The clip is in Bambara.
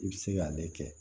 I bɛ se k'ale kɛ